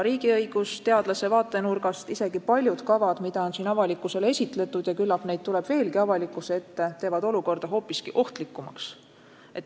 Riigiõigusteadlase vaatenurgast võib öelda, et isegi paljud kavad, mida on siin avalikkusele esitletud ja küllap neid tuleb veelgi avalikkuse ette, teevad olukorra hoopiski ohtlikumaks.